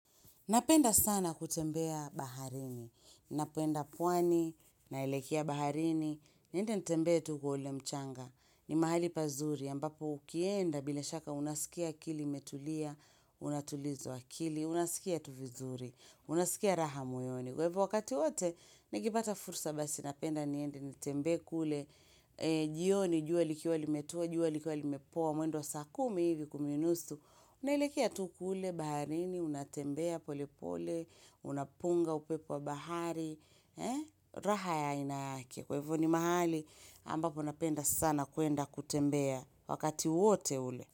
Napenda sana kutembea baharini. Napenda pwani, naelekea baharini, niende nitembee tu kwa ule mchanga. Ni mahali pazuri, ambapo ukienda bila shaka unaskia akili imetulia, unatulizwa akili, unaskia tu vizuri, unaskia raha moyoni. Kwa hivyo wakati wote, nikipata fursa basi, napenda niende nitembee kule, jioni, jua likiwa limetua, jua likiwa limepoa, mwendo wa saa kumi hivi kumi nusu, Unaelekea tu kule baharini, unatembea pole pole, unapunga upepo wa bahari, raha ya aina yake. Kwa hivyo ni mahali, ambapo napenda sana kwenda kutembea wakati wote ule.